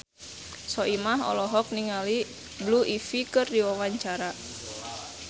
Soimah olohok ningali Blue Ivy keur diwawancara